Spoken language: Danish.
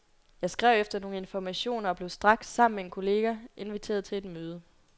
Jeg skrev efter nogle informationer og blev straks, sammen med en kollega, inviteret til et møde.